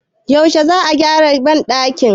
yaushe za a gyara bandakin?